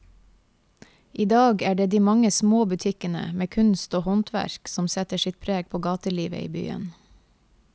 I dag er det de mange små butikkene med kunst og håndverk som setter sitt preg på gatelivet i byen.